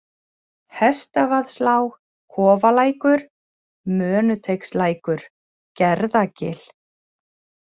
Hestavaðslág, Kofalækur, Mönuteigslækur, Gerðagil